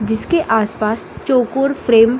जिसके आस-पास चोकोर फ़्रेम --